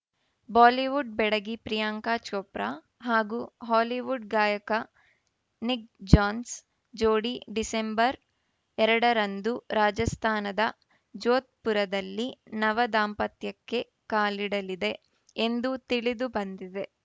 Bollywood ಬೆಡಗಿ ಪ್ರಿಯಾಂಕಾ ಚೋಪ್ರಾ ಹಾಗೂ Hollywood ಗಾಯಕ ನಿಕ್‌ ಜಾನ್ಸ್ ಜೋಡಿ ಡಿಸೆಂಬರ್‌ ಎರಡರಂದು ರಾಜಸ್ಥಾನದ ಜೋಧ್‌ಪುರದಲ್ಲಿ ನವ ದಾಂಪತ್ಯಕ್ಕೆ ಕಾಲಿಡಲಿದೆ ಎಂದು ತಿಳಿದು ಬಂದಿದೆ